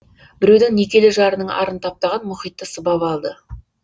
біреудің некелі жарының арын таптаған мұхитты сыбап алды